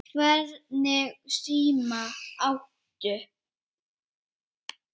Hvernig síma áttu?